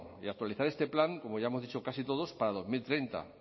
y actualizar este plan como ya hemos dicho casi todos para dos mil treinta